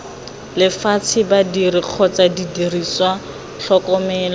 lefatshe badiri kgotsa didiriswa tlhokomelo